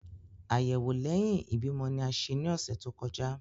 Ayẹwo lẹhin ibimọ ni a ṣe ni ọsẹ to kọja.